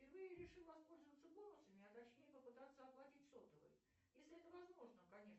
впервые решил воспользоваться бонусами а точнее попытаться оплатить сотовый если это возможно конечно